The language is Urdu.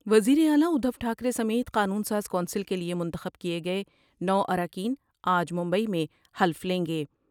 وزیر اعلی ادھوٹھا کرے سمیت قانون ساز کونسل کے لئے منتخب کئے گئے نو اراکین آج ممبئی میں حلف لیں گے ۔